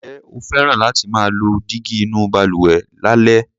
Ǹjẹ́ o fẹ́ràn láti máa lo dígí inú balùwẹ̀ lálẹ́?